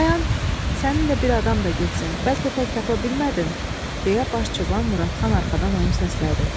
Dayan, səninlə bir adam da getsən, bəlkə tək tapa bilmədin, deyə baş çoban Muradxan arxadan onu səslədi.